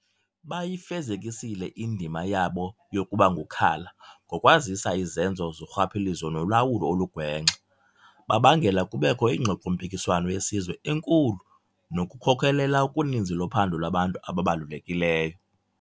Bayifezekisile indima yabo yokubangukhala ngokwazisa izenzo zorhwaphilizo nolawulo olugwenxa, babangela kubekho iingxoxo-mpikiswano yesizwe enkulu nokukhokelela kuninzi lophando lwabantu ababalulekileyo.